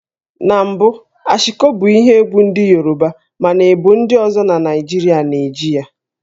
Na mbụ Ashiko bụ ihe egwú ndị Yoruba mana ebo ndi ozo na Naịjirịa na-eji ya